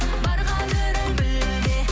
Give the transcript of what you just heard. бар қадірін біл де